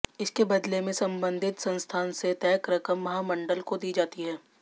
इसके बदले में संबंधित संस्थान से तय रकम महामंडल को दी जाती है